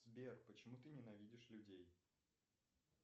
сбер почему ты ненавидишь людей